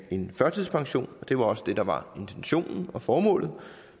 end førtidspensionen og det var også det der var intentionen og formålet